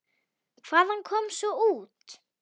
Og hvað kom svo út?